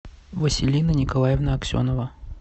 василина николаевна аксенова